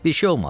Bir şey olmadı.